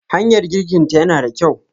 Hanyar girkinta yana da kyau.